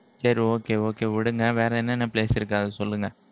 சரி okay okay விடுங்க வேற என்னென்ன place இருக்கு அத சொல்லுங்க